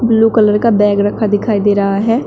Blue colour का bag रखा दिखाई दे रहा है।